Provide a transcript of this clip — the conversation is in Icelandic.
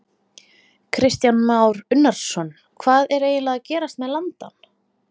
Kristján Már Unnarsson: Hvað er eiginlega að gerast með landann?